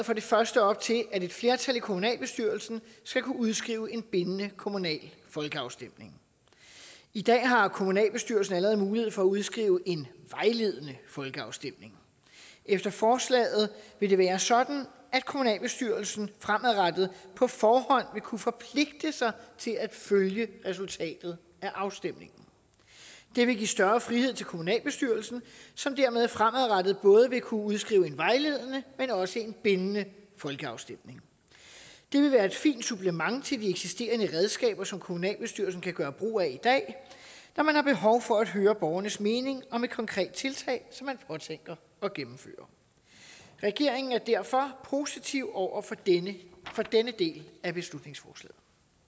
for det første op til at et flertal i kommunalbestyrelsen skal kunne udskrive en bindende kommunal folkeafstemning i dag har kommunalbestyrelsen allerede mulighed for at udskrive en vejledende folkeafstemning efter forslaget vil det være sådan at kommunalbestyrelsen fremadrettet på forhånd vil kunne forpligte sig til at følge resultatet af afstemningen det vil give større frihed til kommunalbestyrelsen som dermed fremadrettet både vil kunne udskrive en vejledende men også en bindende folkeafstemning det vil være et fint supplement til de eksisterende redskaber som kommunalbestyrelsen kan gøre brug af i dag når man har behov for at høre borgernes mening om et konkret tiltag som man påtænker at gennemføre regeringen er derfor positiv over for denne del af beslutningsforslaget